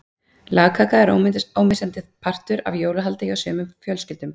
Lagkaka er ómissandi partur af jólahaldi hjá sumum fjölskyldum.